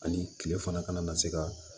Ani kile fana kana na se ka